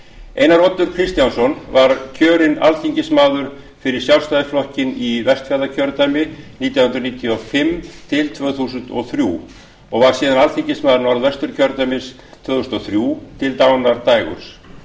einar oddur kristjánsson var kjörinn alþingismaður fyrir sjálfstæðisflokkinn í vestfjarðakjördæmi nítján hundruð níutíu og fimm til tvö þúsund og þrjú og var síðan alþingismaður norðvesturkjördæmis tvö þúsund og þrjú til dánardags á